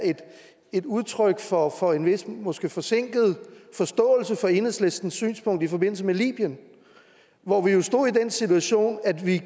et udtryk for for en vis måske forsinket forståelse for enhedslistens synspunkt i forbindelse med libyen hvor vi jo stod i den situation at vi